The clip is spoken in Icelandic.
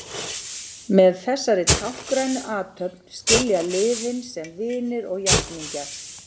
Með þessari táknrænu athöfn skilja liðin sem vinir og jafningjar.